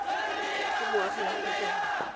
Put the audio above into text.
ke moagi wa aforika borwa